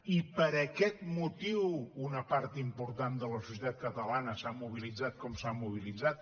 i per aquest motiu una part important de la societat catalana s’ha mobilitzat com s’ha mobilitzat